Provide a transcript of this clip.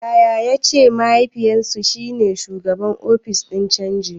Yaya ya ce mahaifinsu shi ne shugaban ofishin canji.